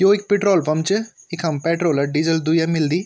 यो एक petrol pump च इखम पेट्रोल और डीजल दुया मिलदी।